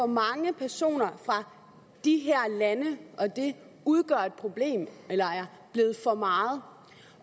mange personer fra de her lande og at det udgør et problem eller er blevet for meget